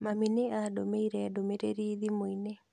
Mami nĩ aandũmĩire ndũmĩrĩri thimũ-inĩ